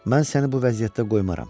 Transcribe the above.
Mən səni bu vəziyyətdə qoymaram.